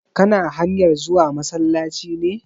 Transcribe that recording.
Kana hanyar zuwa masallaci ne?